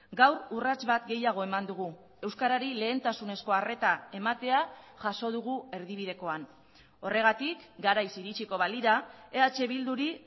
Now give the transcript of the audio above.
gaur urrats bat gehiago eman dugu euskarari lehentasunezko arreta ematea jaso dugu erdibidekoan horregatik garaiz iritsiko balira eh bilduri